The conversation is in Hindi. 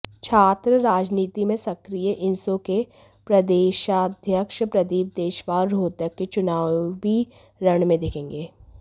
छात्र राजनीति में सक्रिय इनसो के प्रदेशाध्यक्ष प्रदीप देशवाल रोहतक के चुनावी रण में दिखेंगे